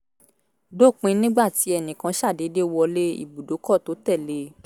dópin nígbà tí ẹnì kan ṣàdédé wọ lé ibùdókọ̀ tó tẹ̀ lé e